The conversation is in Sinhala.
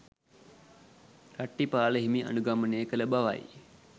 රට්ඨපාල හිමි අනුගමනය කළ බවයි